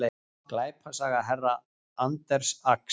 Glæpasaga herra Anders Ax